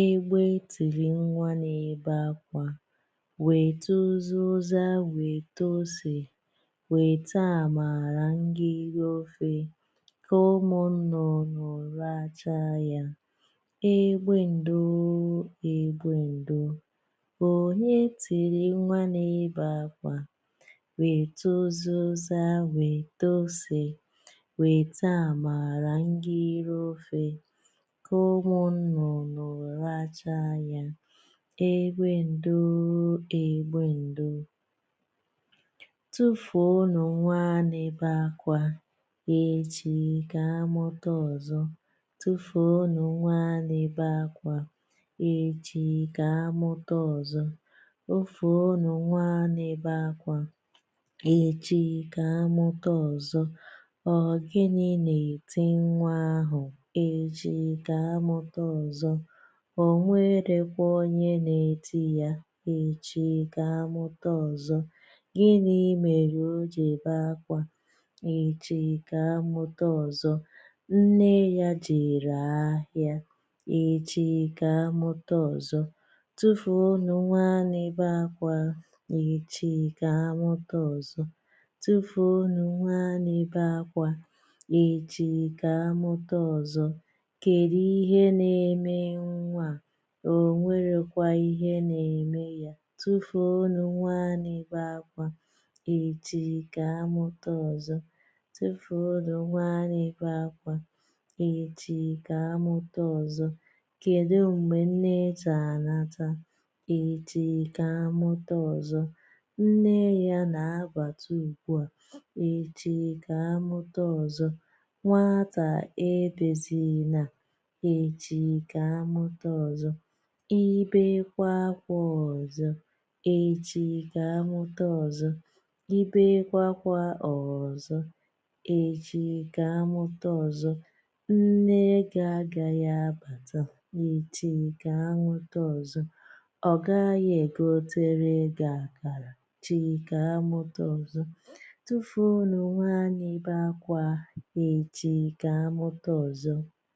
egbe tịrị nwa n’ebe àkwà. Weta ụzị̀za ụzị̀za weta ose, weta amaara nge iru ofe, ka ụmụ nnụnụ lacha ya. Egbe ndoo, Egbe ndoo. Onye tìrì nwa n’ebe akwà, wèta ụzị̀za ụzị̀za wèta ȯsè, wèta àmàra ngị̀ rị ofė, kà ụmụ̀ nnụ̀nụ̀ lacha ya, egbė ndȯȯ egbė ndoȯ. Tufùọnụ̇ nwa n’ebe akwà, echi kà amụ̀ta ọzọ̇. Tufùọnụ̇ nwa n’ebe akwà, echi kà amụ̀ta ọzọ̇. Tufùọnụ̇ nwa n’ebe akwà, echi kà amụ̀ta ọzọ̇. Ọ gịnị̀ na-eti nwa ahụ̀, echi kà amụta ọzọ̀. O nwerèkwa onye na-etinyà ya, echi kà amụta ọzọ̀. Gịnị̀ mere o ji ebė ákwà, echi kà amụta ọzọ̀. Nne yà jere ahịȧ, echi kà amụta ọzọ̀. Tufùọnụ̇ nwa n’ebe akwà, echi kà amụ̀ta ọzọ̇. Tufùọnụ̇ nwa n’ebe akwà, echi kà amụ̀ta ọzọ̇. Kèri ihe nà-ème nwaà, ò nwèrèkwà ihe nà-ème yà. Tufùọnụ̇ nwa n’ebe akwà, echi kà amụ̀ta ọzọ̇.Tufùọnụ̇ nwa n’ebe akwà, echi kà amụ̀ta ọzọ̇. Kedu mgbe nne ji-anàtà, echi kà amụ̀ta ọzọ̇. Nne ya na abata ugbu a, echi kà amụ̀ta ọzọ̇. Nwatà ebezinà, echi kà amụ̀ta ọzọ̇. I bekwȧ akwȧ ọzọ̀, echi kà amụ̀ta ọzọ̇. I bekwȧakwȧ ọzọ̀, echi kà amụ̀ta ọzọ̇. Nne gi-agàyi abàta, echi kà amụ̀ta ọzọ̇. Ọ gaghị egotere gị akara, echi kà amụ̀ta ọzọ̇. Tufùọnụ̇ nwa n’ebe akwà, echi kà amụ̀ta ọzọ̇.